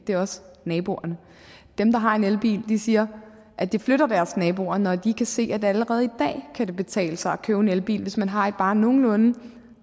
det er også naboerne dem der har en elbil siger at det flytter deres naboer når de kan se at allerede i dag kan det betale sig at købe en elbil hvis man har et bare nogenlunde